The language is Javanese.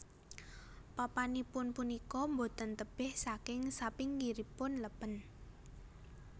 Papanipun punika boten tebih saking sapinggiripun lèpèn